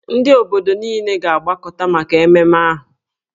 Ndị obodo niile ga-agbakọta maka ememme ahụ.